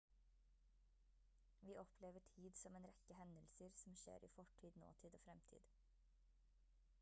vi opplever tid som en rekke hendelser som skjer i fortid nåtid og fremtid